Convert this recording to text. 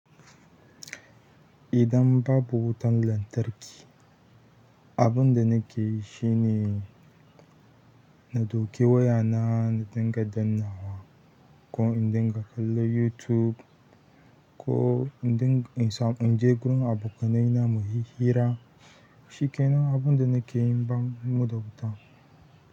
Idan babu wutan lantarki, abinda nake yi shine inje in ɗauki wayana na dinga dannawa ko in dinga kallon yutub ko in din inje gurin abokanai na muyi hira. Shi kenan abunda nake yi bam mu da wuta.